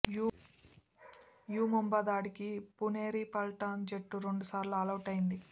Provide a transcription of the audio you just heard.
you Mumba ధాటికి పుణెరి పల్టాన్ జట్టు రెండు సార్లు ఆలౌటైంది